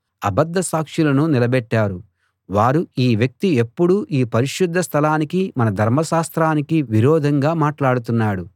అబద్ధ సాక్షులను నిలబెట్టారు వారు ఈ వ్యక్తి ఎప్పుడూ ఈ పరిశుద్ధ స్థలానికీ మన ధర్మశాస్త్రానికీ విరోధంగా మాట్లాడుతున్నాడు